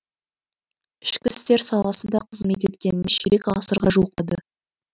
ішкі істер саласында қызмет еткеніне ширек ғасырға жуықтады